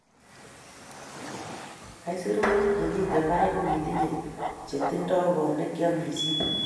isurut nemiten barak kokitiny che tindo kot nekiamishen.